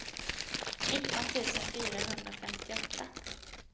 nitton tusen fyrahundrafemtioåtta